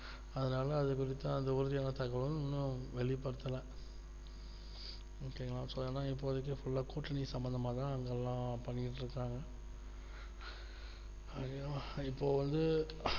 அதனால விறுவிறுப்பா அந்த உறுதியான தகவலும் ஒண்ணும் வெளிப்படுத்தவில்லை okay வா so அதனால இப்போதைக்கு full லா கூட்டிட்டு சம்பந்தமாக எல்லாமே பண்ணிட்டு இருக்காங்க அஹ் இப்போவந்து